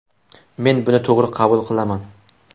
Men buni to‘g‘ri qabul qilaman.